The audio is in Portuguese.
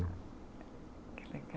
Que